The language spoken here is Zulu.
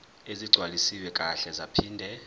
ezigcwaliswe kahle zaphinde